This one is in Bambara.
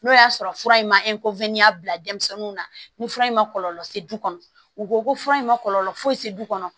N'o y'a sɔrɔ fura in ma bila denmisɛnninw na ni fura in ma kɔlɔlɔ se du kɔnɔ u ko ko fura in ma kɔlɔlɔ foyi se du kɔnɔ